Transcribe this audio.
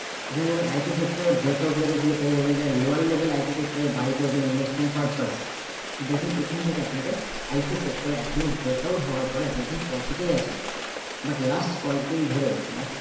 এখানে দেখুন IT sector এর break out level এ ছিল এই level যারা lower level IT sector এর buy করেছেন investment purpose দেখুন এখান থেকে আপনাকে IT sector এ এখনো break out হওয়ার পরে আপনি এখন profit এই আছেন। But last কয়েকদিন ধরে মাস